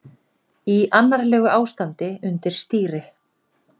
Í annarlegu ástandi undir stýri